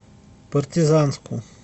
партизанску